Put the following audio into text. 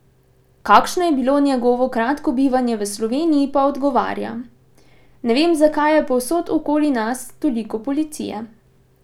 Kakšno je bilo njegovo kratko bivanje v Sloveniji, pa odgovarja: 'Ne vem, zakaj je povsod okoli nas toliko policije.